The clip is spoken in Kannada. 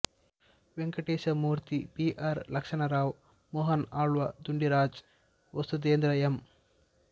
Venkatesha Murthy B R Lakshmanrao Mohan Alva Dundiraj Vasudhendra M